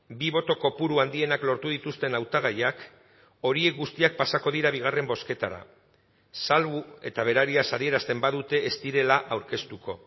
bi boto kopuru handienak lortu dituzten hautagaiak horiek guztiak pasako dira bigarren bozketara salbu eta berariaz adierazten badute ez direla aurkeztuko